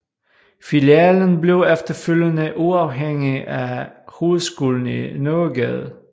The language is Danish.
Filialen blev efterfølgende uafhængig af hovedskolen i Nørregade